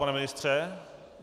Pane ministře?